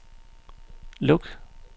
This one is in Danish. luk